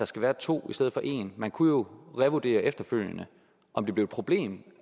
skal være to i stedet for en man kunne jo revurdere efterfølgende om det blev et problem